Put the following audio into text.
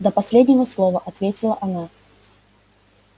до последнего слова ответила она